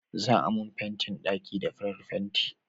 za a mun fentin ɗaki da farar fenti